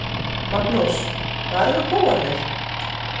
Magnús: Hvar eru bófarnir?